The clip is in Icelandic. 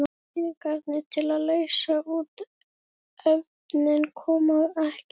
Peningarnir til að leysa út efnið koma ekki.